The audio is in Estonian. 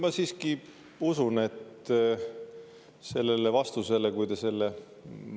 Ma siiski usun, et sellele on vastused.